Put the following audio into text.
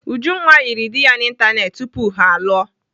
Ujunwa yịrị dị ya n'Ịntanetị tupu ha alụọ.